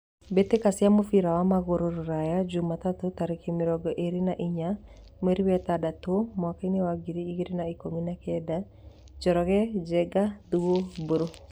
Mbĩtĩka cia mũbira wa magũrũ Ruraya Jumatatũ tarĩki mĩrongo ĩrĩ na inya mweri wetandatũ mwakainĩ wa ngiri igĩrĩ na ikũmi na kenda :Njoroge, Njenga, Thuo, Mburu.